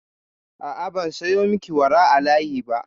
A'a, ban sayo miki wara a layi ba.